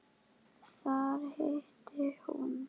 Þar hitti hún